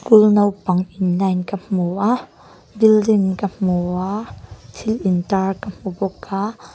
kul naupang in line ka hmu a building ka hmu a thil intar ka hmu bawk a.